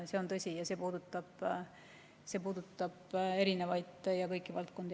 See on tõsi ja see puudutab kõiki valdkondi.